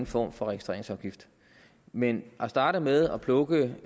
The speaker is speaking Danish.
form for registreringsafgift men at starte med at plukke